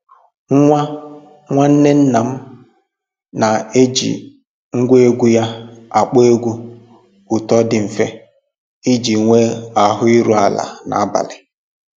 Nwa nwanne nna m na-eji ngwa egwu ya akpọ egwu ụtọ dị mfe iji nwee ahụ iru ala n'abalị